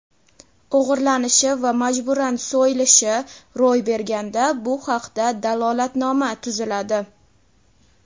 o‘g‘irlanishi va majburan so‘yilishi) ro‘y berganda bu haqda dalolatnoma tuziladi.